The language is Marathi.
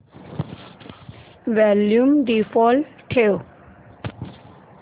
वॉल्यूम डिफॉल्ट ठेव